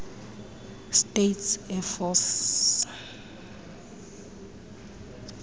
states air force